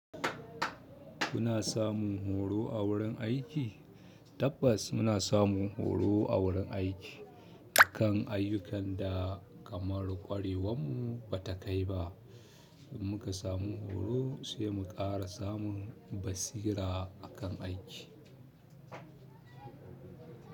Kuna samun horo a wurin aiki? Tabbas muna samun horo a wurin aiki akan ayyukan da kamar kwarewarmu ba ta kai ba. Muka samu horo sai mu ƙara samun basira a wurin aiki.